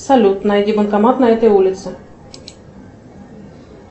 салют найди банкомат на этой улице